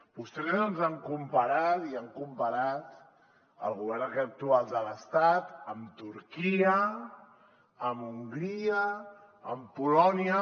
vostès ens han comparat i han comparat el govern actual de l’estat amb turquia amb hongria amb polònia